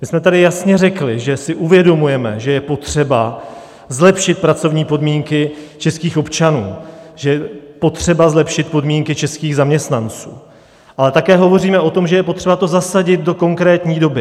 My jsme tady jasně řekli, že si uvědomujeme, že je potřeba zlepšit pracovní podmínky českých občanů, že je potřeba zlepšit podmínky českých zaměstnanců, ale také hovoříme o tom, že je potřeba to zasadit do konkrétní doby.